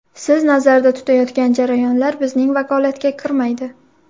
Siz nazarda tutayotgan jarayonlar bizning vakolatga kirmaydi.